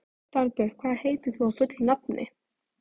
Dagbjört, hvað heitir þú fullu nafni?